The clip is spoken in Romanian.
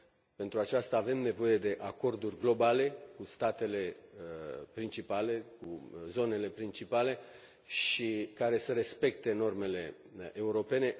Pentru aceasta, avem nevoie de acorduri globale cu statele principale, cu zonele principale care să respecte normele europene.